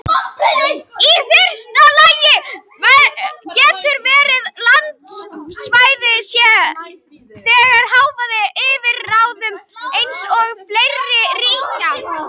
Í fyrsta lagi getur verið að landsvæði sé þegar háð yfirráðum eins eða fleiri ríkja.